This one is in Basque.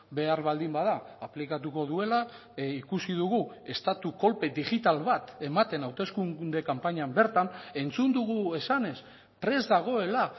behar baldin bada aplikatuko duela ikusi dugu estatu kolpe digital bat ematen hauteskunde kanpainan bertan entzun dugu esanez prest dagoela